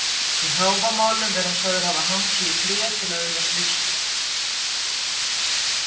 Í Hávamálum er hann sagður hafa hangið í tré til að öðlast visku.